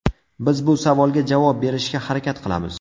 Biz bu savolga javob berishga harakat qilamiz.